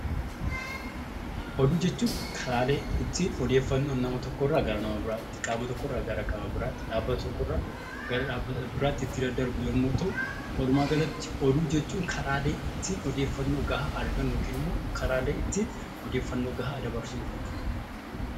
Oduu jechuun haala odeeffannoon nama tokko irraa gara nama biraatti yookaan qaama tokko irraa gara qaama biraatti , dhaabbata tokko irraa gara dhaabbata biraatti ittiin daddarbu yoo ta'u, walumaa galatti oduu jechuun karaa ittiin odeeffannoo argannu , karaalee ittiin odeeffannoo gahaa dabarsinu jechuudha.